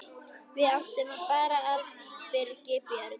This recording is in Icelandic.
Við áttum bara Birgi Björn.